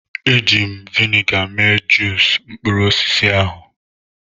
Eji m vịnịga mee juusu mkpụrụ osisi ahụ.